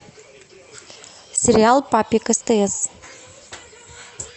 сериал папик стс